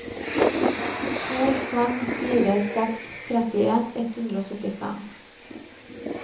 to fem fire seks trettien ett hundre og syttifem